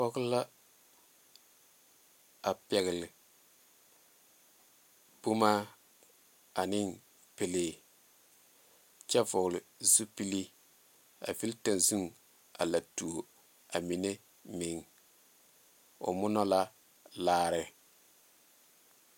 Pɔge la a pɛgle boma ane pɛlee kyɛ vɔgle zupili a vili taŋzuŋ a la tuo a mine meŋ o mora la laara.